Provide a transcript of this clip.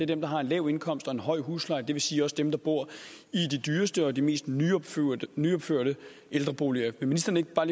dem der har en lav indkomst og en høj husleje det vil sige også dem der bor i de dyreste og de mest nyopførte ældreboliger vil ministeren ikke bare